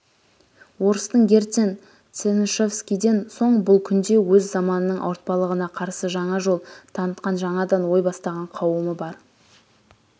орыстың герцен чернышевскийден соң бұл күнде өз заманының ауыртпалығына қарсы жаңа жол танытқан жаңадан ой бастаған қауымы бар